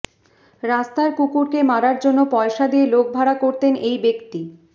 রাস্তার কুকুরকে মারার জন্য পয়সা দিয়ে লোক ভাড়া করতেন এই ব্যক্তি